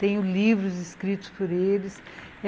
Tenho livros escritos por eles.